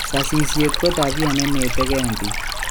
Sasisiet ko tabia nenetegen pik